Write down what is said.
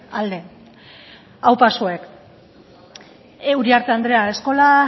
alde aupa zuek uriarte andrea eskola